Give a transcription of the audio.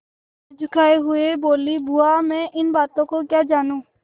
सिर झुकाये हुए बोलीबुआ मैं इन बातों को क्या जानूँ